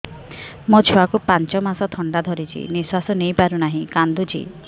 ମୋ ଛୁଆକୁ ପାଞ୍ଚ ମାସ ଥଣ୍ଡା ଧରିଛି ନିଶ୍ୱାସ ନେଇ ପାରୁ ନାହିଁ କାଂଦୁଛି